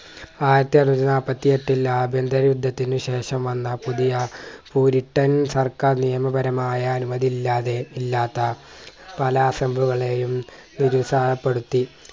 ആയിരത്തി അറുന്നൂറ്റി നാൽപ്പത്തി എട്ടിൽ ആഭ്യന്തര യുദ്ധത്തിന് ശേഷം വന്ന പുതിയ പൂരിട്ടൻ സർക്കാർ നിയമപരമായ അനുമതി ഇല്ലാതെ ഇല്ലാത്ത പല assemble കളെയും നിരുത്സാഹപെടുത്തി